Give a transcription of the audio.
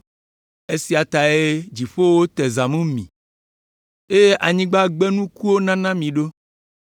Esia tae dziƒowo te zãmu mi eye anyigba gbe nukuwo nana mi ɖo.